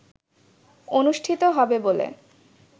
অনুষ্ঠিত হবে বলে